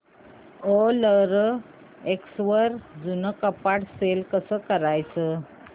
OLX वर जुनं कपाट सेल कसं करायचं